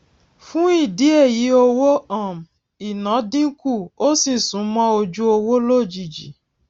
fún ìdí èyíowó um ìná dínkù ó sì sún mó ojú owó lójijì